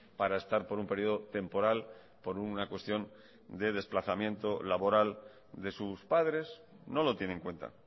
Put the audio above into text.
para estar por un periodo temporal por una cuestión de desplazamiento laboral de sus padres no lo tiene en cuenta